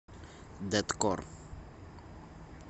дэткор